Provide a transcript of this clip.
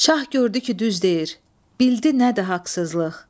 Şah gördü ki düz deyir, bildi nədir haqsızlıq.